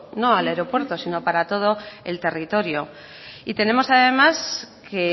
no al aeropuerto sino para todo el territorio tenemos además que